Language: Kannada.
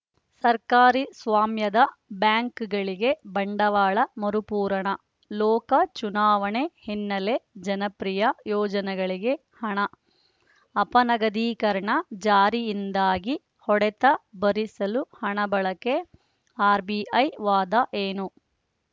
ಸರ್ಕಾರಿ ಸ್ವಾಮ್ಯದ ಬ್ಯಾಂಕ್‌ಗಳಿಗೆ ಬಂಡವಾಳ ಮರುಪೂರಣ ಲೋಕ ಚುನಾವಣೆ ಹಿನ್ನೆಲೆ ಜನಪ್ರಿಯ ಯೋಜನೆಗಳಿಗೆ ಹಣ ಅಪನಗದೀಕರಣ ಜಾರಿಯಿಂದಾದ ಹೊಡೆತ ಭರಿಸಲು ಹಣ ಬಳಕೆ ಆರ್‌ಬಿಐ ವಾದ ಏನು